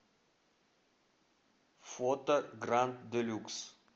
фото гранд делюкс